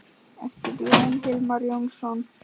eftir Jón Hilmar Jónsson